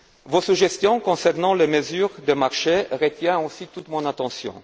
Vos suggestions concernant les mesures de marché retiennent aussi toute mon attention.